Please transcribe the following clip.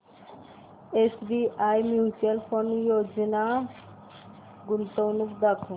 SBI mutual fund गुंतवणूक योजना दाखव